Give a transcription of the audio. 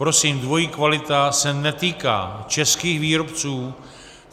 Prosím, dvojí kvalita se netýká českých výrobců.